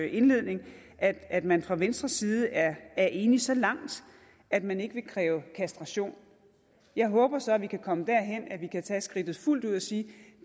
indledning at at man fra venstres side er enig så langt at man ikke vil kræve kastration jeg håber så at vi kan komme derhen at vi kan tage skridtet fuldt ud og sige at